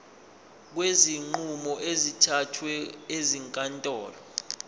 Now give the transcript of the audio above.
kwezinqumo ezithathwe ezinkantolo